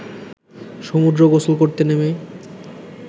সমুদ্রে গোসল করতে নেমে